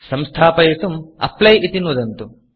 संस्थापयितुं Applyअप्लै इति नुदन्तु